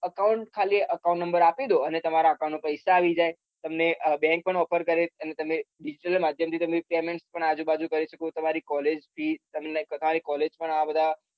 account ખાલી account number આપી દો અને તમારા account માં પૈસા આવી જાય ને bank પણ offer કરે digital માધ્યમ થી તમે payment પણ આજુ બાજુ કરી શકો તમારી college fee તમારી college પણ આ બધા